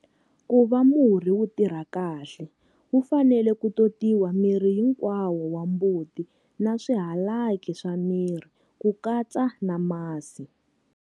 Ku va murhi wu tirha kahle, wu fanele ku totiwa mirhi hinkwawo wa mbuti na swihalaki swa miri, ku katsa na masi.